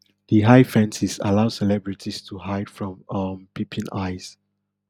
di high fences allow celebrities to hide from um peeping eyes